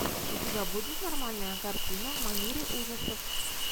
у тебя будет нормальная картина в манере ужасов